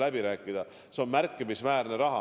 Ma nimetasin siin näiteks vesinikku.